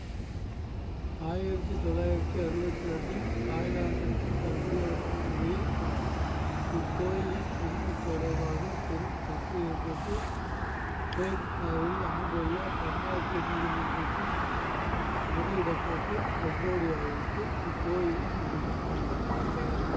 ஆயிரத்தி தொள்ளாயிரத்தி அறுவத்தி இரண்டில் தாய்லாந்துக்கும் கம்போடியாவுக்கும் இடையில் இக்கோயிலின் உரிமை தொடர்பாக பெரும் சர்ச்சை ஏற்பட்டு ஹேக் நகரில் அமைந்துள்ள பன்னாட்டு நீதிமன்றத்தில் முறையிடப்பட்டு கம்போடியாவுக்கு இக்கோயிலின் உரிமை வழங்கப்பட்டது